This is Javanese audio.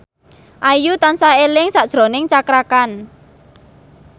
Ayu tansah eling sakjroning Cakra Khan